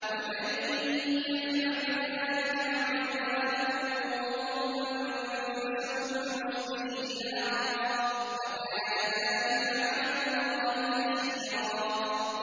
وَمَن يَفْعَلْ ذَٰلِكَ عُدْوَانًا وَظُلْمًا فَسَوْفَ نُصْلِيهِ نَارًا ۚ وَكَانَ ذَٰلِكَ عَلَى اللَّهِ يَسِيرًا